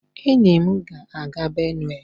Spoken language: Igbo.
enyi m ga-aga Benue